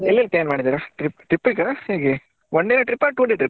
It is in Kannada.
ಎಲ್ಲೆಲ್ಲಿ plan ಮಾಡಿದ್ದೀರಾ trip ಗಾ ಹೇಗೆ one day trip ಆ two day trip ಆ?